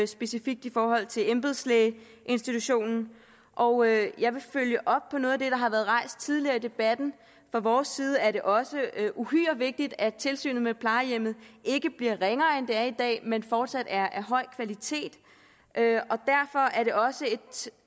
specifikt i forhold til embedslægeinstitutionen og jeg jeg vil følge op på noget af det der har været rejst tidligere i debatten fra vores side er det også uhyre vigtigt at tilsynet med plejehjem ikke bliver ringere end det er i dag men fortsat er af høj kvalitet derfor er det også et